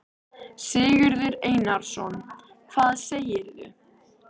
Sigurður Einarsson: Hvað segirðu?